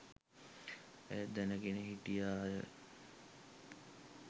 ඇය දැනගෙන හිටියා